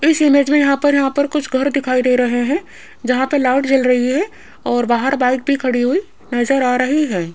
इस इमेज मे यहां पर यहां पर कुछ घर दिखाई दे रहे हैं जहां पर लाइट जल रही है और बाहर बाइक भी खड़ी हुई नजर आ रही है।